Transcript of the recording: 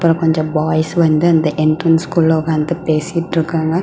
அப்புறம் கொஞ்சம் பாய்ஸ் வந்து அந்த என்ட்ரன்ஸ்குள்ள உக்காந்து பேசிட்டு இருக்காங்க.